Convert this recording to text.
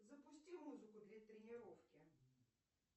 запусти музыку для тренировки